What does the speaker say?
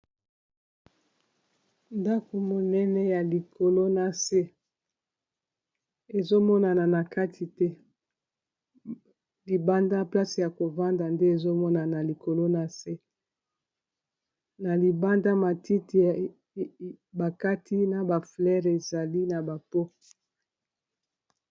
Ndako monene ya likolo na se, ezo monana na kati te, libanda place ya ko vanda nde ezo mona na likolo . Na se na libanda matiti ba kati na ba fleures ezali na ba pots .